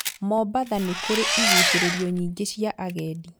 Mombasa nĩkũrĩ igucĩrĩrio nyingĩ cia agendi